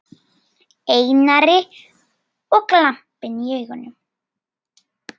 Einari og glampinn í augunum.